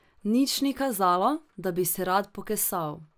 Nič ni kazalo, da bi se rad pokesal.